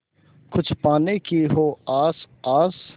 कुछ पाने की हो आस आस